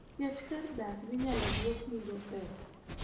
Ket kar dak minyalo duoknigo pesa.